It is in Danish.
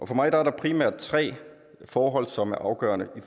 for mig er der primært tre forhold som er afgørende i